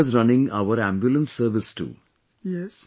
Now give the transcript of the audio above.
These drivers running our ambulance service too